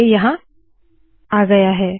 अब ये आ गया है